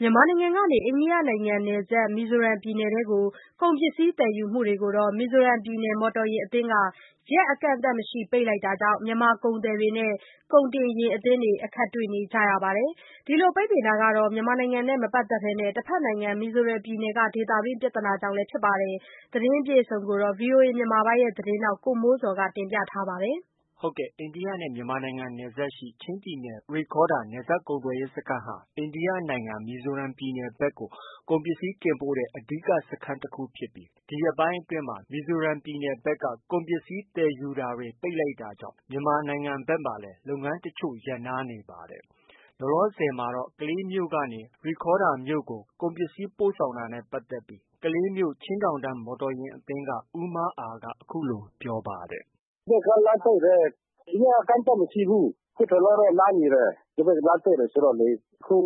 မြန်မာနိုင်ငံကနေ အိန္ဒိယနိုင်ငံနယ်စပ် မီဇိုရမ်ပြည်နယ်ထဲ ကုန်ပစ္စည်းသယ်ယူမှုတွေကို မီဇိုရမ်ပြည်နယ် မော်တော်ယာဉ်အသင်းက ရက်အကန့်အသတ်မရှိ ပိတ်လိုက်တာကြောင့် မြန်မာ ကုန်သည်တွေနဲ့ ကုန်တင်ယာဉ် အသင်းတွေ အခက်တွေ့နေရပါတယ်။ ဒီလို ပိတ်ပင်တာ မြန်မာနိုင်ငံနဲ့ မပတ်သက်ဘဲ တဘက်နိုင်ငံ မီဇိုရမ်ပြည်နယ်က ဒေသတွင်း ပြဿနာကြောင့် လည်း ဖြစ်ပါတယ်။ ဗွီအိုအေ မြန်မာပိုင်း သတင်းထောက် ကိုမိုးဇော်က တင်ပြထားပါတယ်။ အိန္ဒိယနဲ့ မြန်မာနယ်စပ်ရှိ ချင်းပြည်နယ် ရိခေါဒါရ် နယ်စပ်ကုန်သွယ်ရေးစခန်းဟာ အိန္ဒိယနိုင်ငံ မီဇိုရမ်ပြည်နယ် ဘက်ကို ကုန်ပစ္စည်းတင်ပို့တဲ့ အဓိက စခန်းတခုဖြစ်ပြီး ဒီရက်ပိုင်းအတွင်းမှာ မီဇိုရမ်ပြည်နယ်အတွင်း ကုန် ပစ္စည်းသယ်ယူတာတွေ ပိတ်လိုက် တာကြောင့် မြန်မာနိုင်ငံဘက်မှာလည်း လုပ်ငန်းတချို့ရပ်နားနေပါတယ်။ လောလောဆယ်မှာတော့ ကလေးမြို့ကနေ ရိခေါ်ဒါရ်မြို့ကို ကုန်စည်ပို့ဆောင်တာနဲ့ ပတ်သက်ပြီးကလေးမြို့ ချင်းတောင်တန်း မော်တော်ယာဉ်အသင်းက ဦးမားအာက ပြောပါတယ်။ “ဟိုဘက်က လမ်းပိတ်တယ်။ ရက်အကန့်အသတ်မရှိဘူး။ အခုတလောတော့ နားနေ တယ်။ လမ်းပိတ်တယ် ဆိုတော့လေ။ အခု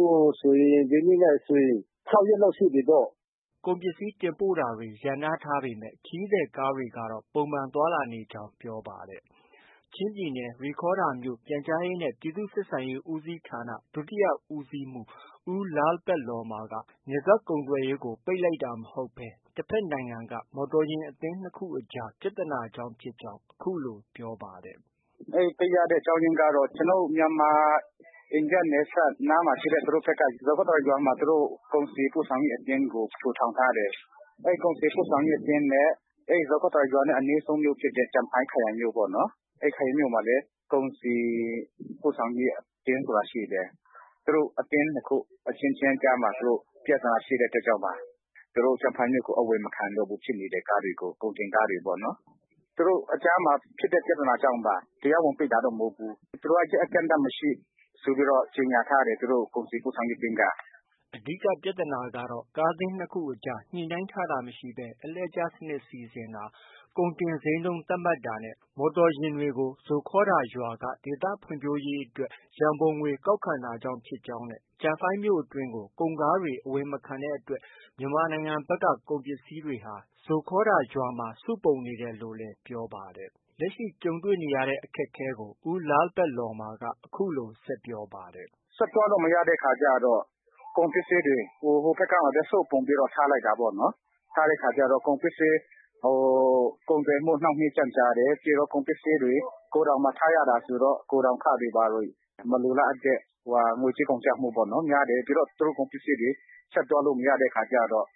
ဆိုရင် ဒီနေ့နဲ့ဆိုရင် ၆ ရက်လောက်ရှိပြီပေါ့။” ကုန်ပစ္စည်းတင်ပို့တာတွေ ရပ်နားထားပေမဲ့ ခရီးသည်ကားတွေကတော့ ပုံမှန်သွား လာနေ ကြောင်းလည်း ပြော ပါတယ်။ ချင်းပြည်နယ် ရိခေါဒါရ်မြို့ ပြန်ကြားရေးနဲ့ပြည်သူ့ဆက်ဆံရေးဦးစီးဌာန ဒုတိယဦးစီးမှူး ဦးလားလ်ပက်လော်မ်မာ က နယ်စပ်ကုန်သွယ်ရေးကို ပိတ်ပင်တာမဟုတ်ဘဲ တဘက်နိုင်ငံက မော်တော်ယာဉ်အသင်း၂ ခုအကြား ပြဿနာကြောင့်ဖြစ်ကြောင်း အခုလို ပြောပါတယ်။ “အဲဒီပိတ်ရတဲ့အကြောင်းရင်းကတော့ ကျနော်တို့ မြန်မာ- အိန္ဒိယနယ်စပ်နားမှာ ရှိတဲ့ သူတို့ဘက်က ဇိုခေါထာရ် ရွာမှာ ကုန်စည်ပို့ဆောင်ရေးအသင်းကို ထူထောင်ထားတယ်။ အဲဒီကုန်စည်ပို့ဆောင်ရေးအသင်းနဲ့ ဇိုခေါထာရ် ရွာနဲ့ အနီးဆုံးဖြစ်တဲ့ ကျန်ဖိုင်းခရိုင်မြို့ ပေါ့နော်။ အဲဒီခရိုင်မြို့မှာလည်း ကုန်စည်ပို့ဆောင်ရေး အသင်းဆိုတာ ရှိတယ်။ သူတို့ အသင်း ၂ ခု အချင်းချင်းကြားမှာ ပြဿနာရှိတဲ့အတွက်ကြောင့်ပါ။ သူတို့ ကျန်ဖိုင်းမြို့ကို အဝင်မခံဘူး ဖြစ်နေတယ်။ ကုန်တင်ကားတွေပေါ့နော်။ သူတု့ိအကြားမှာ ဖြစ်တဲ့ ပြဿနာကြောင့်ပါ။ တရားဝင် ပိတ်တာမဟုတ်ဘူး။ သူတို့ ရက်အကန့်အသတ်မရှိဆို ကြေညာထားတယ်။ သူတို့ ကုန်စည်ပို့ဆောင်ရေး အသင်းက။ ” အဓိက ပြဿာနာကတော့ ကားသင်း ၂ ခုအကြား ညှိနှိုင်းထားတာမရှိဘဲ အလှည့်ကျစနစ် စီစဉ်တာ၊ ကုန်တင် ဈေးနှုန်းသတ်မှတ်တာနဲ့ မော်တော်ယာဉ်တွေကို ဇိုခေါထာရ် ရွာက ဒေသဖွံ့ဖြိုးရေးရံပုံငွေ ကောက်ခံတာကြောင့် ဖြစ်ကြောင်းနဲ့ ကျန်ဖိုင်းမြို့အတွင်းကို ကုန်ကားတွေ အဝင်မခံတဲ့အတွက် မြန်မာနိုင်ငံဘက်က ကုန်ပစ္စည်း တွေဟာ ဇိုခေါထားရ်ရွာမှာ စုပုံနေတယ်လို့လည်း ပြောပါတယ်။ လက်ရှိ တွေ့ကြုံနေရတဲ့ အခက်အခဲတွေကို ဦးလားလ်ပက်လော်မ်မာက အခုလို ဆက်ပြောပါတယ်။ “ဆက်သွားလို့ မရတဲ့အခါကျတော့ ကုန်ပစ္စည်းတွေ ဟိုဘက်ကမ်းမှာပဲ စုပုံပြီးတော့ ထား လိုက်တာပေါ့နော်။ ထားတဲ့အခါကျတော့ ကုန်ပစ္စည်း.. ကုန်သွယ်မှု နှောင့်နှေးကြန့်ကြာ တယ်။ ပြီးတော့ ကုန်ပစ္စည်းတွေ ဂိုဒေါင်မှာ ထားရတာဆိုတော့ ဂိုဒေါင်ခတွေ ဘာတွေ မလိုလားအပ်တဲ့ ငွေကြေးကုန်ကျမှုများတယ်။ ပြီးတော့ သူတို့ ကုန် ပစ္စည်းတွေ ဆက် သွားလို့ မရတဲ့အခါကျတော့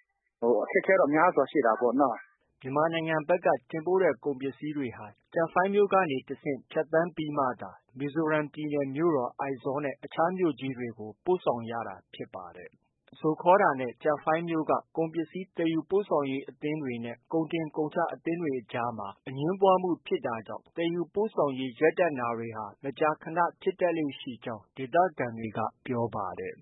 အခက်အခဲတော့ များစွာရှိတာပေါ့နော။” မြန်မာနိုင်ငံဘက်က တင်ပို့တဲ့ ကုန်ပစ္စည်းတွေက ကျန်ဖိုင်းမြို့ကနေတဆင့် ဖြတ်သန်းပြီး မှသာ မီဇိုရမ်ပြည်နယ် မြို့တော် အိုက်ဇောလ်နဲ့ အခြားမြို့ကြီးတွေကို ပို့ဆောင်ရတာ ဖြစ်ပါတယ်။ ဇိုခေါထာရ်နဲ့ ကျန်ဖိုင်းမြို့က ကုန်ပစ္စည်းသယ်ယူပို့ဆောင်ရေးအသင်းတွေနဲ့ ကုန်တင်ကုန်ချအသင်းတွေအကြား အငြင်းပွားမှုဖြစ်တာကြောင့် သယ်ယူပို့ဆောင်ရေး ရပ်တန့်တာတွေ မကြာခနဖြစ်တတ်ကြောင်းလည်း ဒေသခံတွေက ပြောပါတယ်